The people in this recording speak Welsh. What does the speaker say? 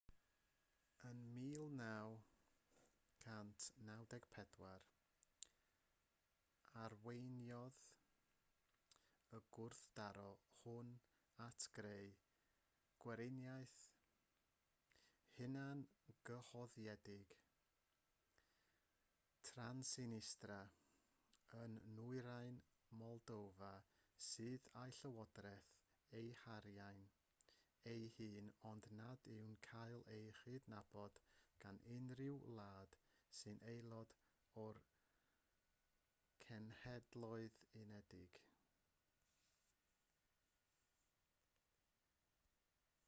ym 1994 arweiniodd y gwrthdaro hwn at greu gweriniaeth hunangyhoeddig transnistria yn nwyrain moldofa sydd â'i llywodraeth a'i harian ei hun ond nad yw'n cael ei chydnabod gan unrhyw wlad sy'n aelod o'r cenhedloedd unedig